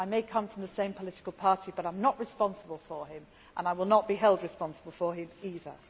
I may come from the same political party, but I am not responsible for him and I will not be held responsible for him either.